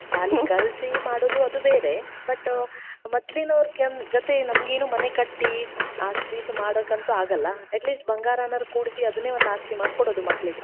ಶಾಲಿ ಕಲ್ಸಿ ಮಾಡೋದು ಅದು ಬೇರೆ. but ಮೊದ್ಲಿನವರ ಗತೆ ನಮಗೆ ಮನೆ ಕಟ್ಟಿ ಆಸ್ತಿ ಮಾಡೋಕಂತ್ರು ಆಗಲ್ಲಾ. at least ಬಂಗಾರಾನಾದರೂ ಕೂಡ್ಸಿ ಅದ್ನೇ ಒಂದ್ ಆಸ್ತಿ ಮಾಡಿ ಕೊಡೋದು ಮಕ್ಕಳಿಗೆ.